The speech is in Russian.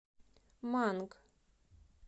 манг